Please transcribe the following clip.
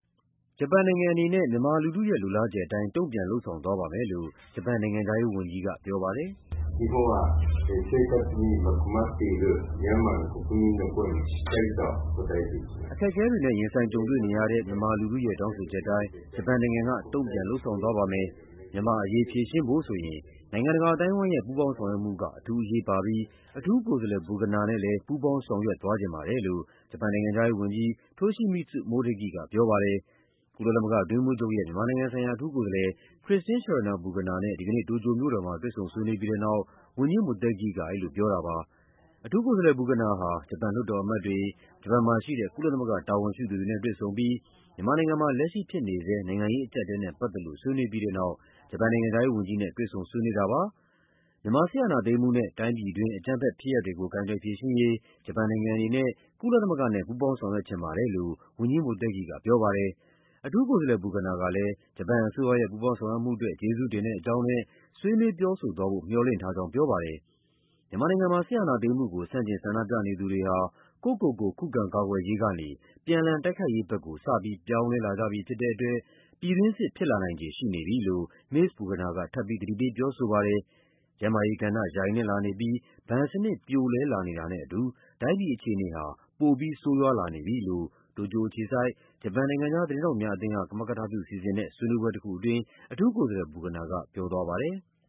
ဂျပန်နိုင်ငံအနေနဲ့ မြန်မာလူထု လိုလားချက်အတိုင်း တုံ့ပြန်လုပ်ဆောင်သွားပါမယ်လို့ ဂျပန်နိုင်ငံခြားရေးဝန်ကြီးက ပြောပါတယ်။ "အခက်အခဲတွေနဲ့ ရင်ဆိုင်ကြုံတွေ့နေရတဲ့ မြန်မာလူထုရဲ့ တောင်းဆိုချက်အတိုင်း ဂျပန်နိုင်ငံက တုံ့ပြန်လုပ်ဆောင်သွားပါမယ်။ မြန်မာ့အရေး ဖြေရှင်းဖို့ဆိုရင် နိုင်ငံတကာအသိုင်းအဝိုင်းရဲ့ ပူးပေါင်းဆောင်ရွက်မှုက အထူးအရေးပါပြီး အထူးကိုယ်စားလှယ် Burgener နဲ့ လည်းပူးပေါင်းဆောင်ရွက်သွားချင်ပါတယ်" လို့ ဂျပန်နိုင်ငံခြားရေးဝန်ကြီး Toshimitsu Motegi ကပြောပါတယ်။ ကုလသမဂ္ဂအတွင်းရေးမှူးချုပ်ရဲ့ မြန်မာနိုင်ငံဆိုင်ရာ အထူးကိုယ်စားလှယ် Christine Schraner Burgener နဲ့ ဒီကနေ့ တိုကျိုမြို့တော်မှာ တွေ့ဆုံဆွေးနွေးပြီးတဲ့နောက် ဝန်ကြီး Motegi က အဲဒီလိုပြောတာပါ။ အထူးကိုယ်စားလှယ် Burgener ဟာ ဂျပန်လွှတ်တော်အမတ်တွေ၊ ဂျပန်မှာရှိတဲ့ ကုလသမဂ္ဂ တာဝန်ရှိသူတွေနဲ့တွေ့ဆုံပြီး မြန်မာနိုင်ငံမှာ လက်ရှိဖြစ်နေဆဲ နိုင်ငံရေးအကျပ်အတည်းနဲ့ပတ်သက်လို့ ဆွေးနွေးပြီးတဲ့နောက် ဂျပန်နိုင်ငံခြားရေးဝန်ကြီးနဲ့ တွေ့ဆုံဆွေးနွေးတာပါ။ မြန်မာစစ်အာဏာသိမ်းမှုနဲ့ တိုင်းပြည်တွင်း အကြမ်းဖက်ဖြစ်ရပ်တွေကို ကိုင်တွယ်ဖြေရှင်းရေး ဂျပန်နိုင်ငံအနေနဲ့ ကုလသမဂ္ဂနဲ့ ပူးပေါင်းဆောင်ရွက်ချင်ပါတယ်လို့ ဝန်ကြီး Motegi ကပြောပါတယ်။ အထူးကိုယ်စားလှယ် Burgener ကလည်း ဂျပန်အစိုးရရဲ့ ပူးပေါင်းဆောင်ရွက်မှုအတွက် ကျေးဇူးတင်တဲ့အကြောင်းနဲ့ ဆွေးနွေးပြောဆိုသွားဖို့ မျှော်လင့်ထားကြောင်းပြောပါတယ်။ မြန်မာနိုင်ငံမှာ စစ်အာဏာသိမ်းမှုကို ဆန့်ကျင်ဆန္ဒပြနေသူတွေဟာ ကိုယ့်ကိုယ်ကို ခုခံကာကွယ်ရေးကနေ ပြန်လှန်တိုက်ခိုက်ရေးဘက်ကို စပြီး ပြောင်းလဲလာကြပြီဖြစ်တဲ့အတွက် ပြည်တွင်းစစ် ဖြစ်လာနိုင်ခြေရှိနေပြီလို့ မစ္စ Burgener က ထပ်ပြီး သတိပေးပြောဆိုခဲ့ပါတယ်။ ကျန်းမာရေးကဏ္ဍ ယိုင်နဲ့လာနေပြီး ဘဏ်စနစ် ပြိုလဲလာနေတာနဲ့အတူ တိုင်းပြည်အခြေအနေဟာ ပိုပြီး ဆိုးရွားလာနေပြီလို့ တိုကျိုအခြေစိုက်၊ ဂျပန် နိုင်ငံခြားသတင်းထောက်များအသင်းက ကမကထပြုစီစဉ်တဲ့ ဆွေးနွေးပွဲတခုအတွင်း အထူးကိုယ်စားလှယ် Burgener ကပြောသွားပါတယ်။